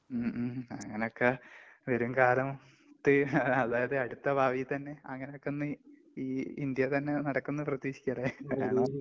മ് ,ഹ്..ഹും...അങ്ങനൊക്കെ വരുംകാലത്ത്, അതായത് അടുത്ത ഭാവിയിൽ തന്നെ അങ്ങനെയൊക്കൊന്ന് ഈ ഇന്ത്യയിൽ തന്നെ നടക്കും എന്ന പ്രതീക്ഷിക്കാം, അല്ലെ?